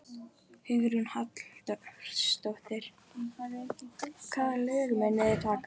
Hugrún Halldórsdóttir: Hvaða lög munuð þið taka?